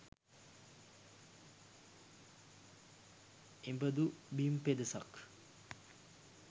එබඳු බිම් පෙදෙසක්